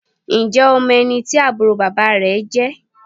Ǹjẹ́ o mọ ẹni tí àbúrò bàbá rẹ jẹ́?